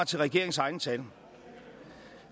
til regeringens egne tal